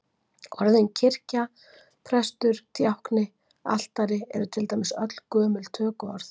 Orðin kirkja, prestur, djákni, altari eru til dæmis öll gömul tökuorð.